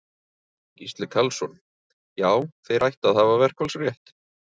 Gísli Karlsson: Já, þeir ættu að hafa verkfallsrétt?